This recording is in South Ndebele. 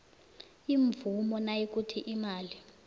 imvumo nayikuthi imali